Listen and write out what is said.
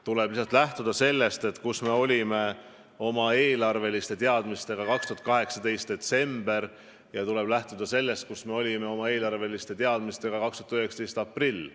Tuleb lihtsalt lähtuda sellest, kus me olime oma eelarveteadmistega 2018. aasta detsembris ja kus me olime nende teadmistega 2019. aasta aprillis.